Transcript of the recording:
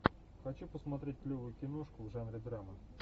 хочу посмотреть клевую киношку в жанре драма